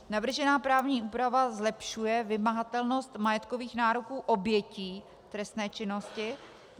Navržená právní úprava zlepšuje vymahatelnost majetkových nároků obětí trestné činnosti.